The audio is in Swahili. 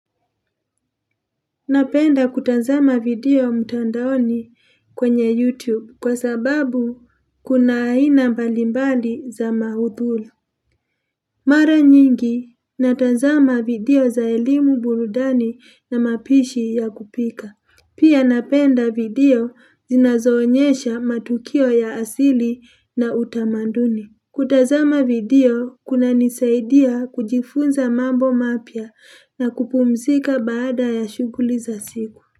Napenda kutazama video mtandaoni kwenye YouTube kwa sababu kuna aina mbalimbali za maudhulu. Mara nyingi, natazama video za elimu burudani na mapishi ya kupika. Pia napenda video zinazoonyesha matukio ya asili na utamanduni. Kutazama video, kunanisaidia kujifunza mambo mapya na kupumzika baada ya shuguli za siku.